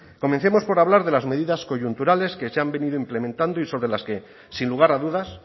comencemos por hablar de las medidas coyunturales que se han venido implementando y sobre las que sin lugar a dudas